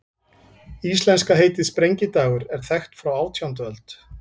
Íslenska heitið, sprengidagur, er þekkt frá átjándu öld.